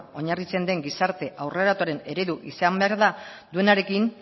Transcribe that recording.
oinarritzen den gizarte aurreratuaren eredu izan behar duenarekin